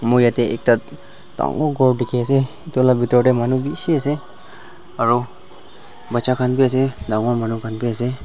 moi yatae ekta dangor ghor dikhiase edu la bitor tae manu bishi ase aro bacha khan bi ase dangor manu khan bi ase.